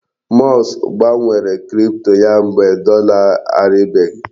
Musk gbanwere cripto ya mgbe dọla aribeghị.